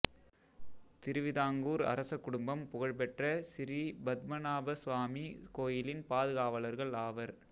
திருவிதாங்கூர் அரசக் குடும்பம் புகழ்பெற்ற சிறீ பத்மநாபசாமி கோயிலின் பாதுகாவலர்கள் ஆவர்